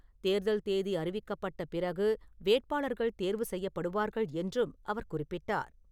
தேர்தல் தேதி அறிவிக்கப்பட்ட பிறகு வேட்பாளர்கள் தேர்வு செய்யப்படுவார்கள் என்றும் அவர் குறிப்பிட்டார்.